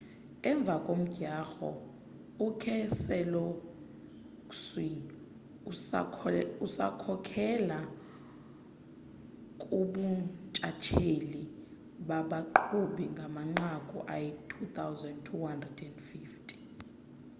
emva komdyarho ukeselowski usakhokhela kubuntshatsheli babaqhubi ngamanqaku ayi-2,250